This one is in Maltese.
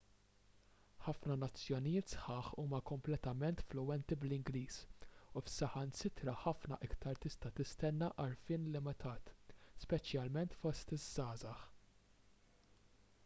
ħafna nazzjonijiet sħaħ huma kompletament fluwenti bl-ingliż u f'saħansitra ħafna iktar tista' tistenna għarfien limitat speċjalment fost iż-żgħażagħ